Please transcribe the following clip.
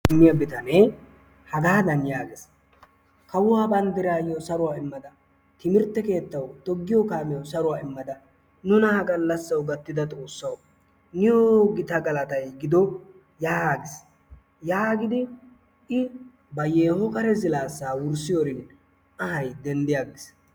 Puniyaa bitanee hagaadan yaagees, kawuwaa banddrawu saruwa immada, timirtte keettaw, toggiyo kaamiyaaw, saruwa immada nuna ha gallassaw gattida xoossaw niyo gita galattay giddo yaagiis, yaagidi i ba yeeho kare zilaassa wurssiyoorin anhaa denddi aggiis.